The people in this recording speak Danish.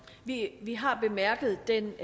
vi vi har bemærket den